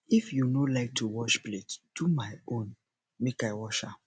if you no like to wash plate do my own make i wash am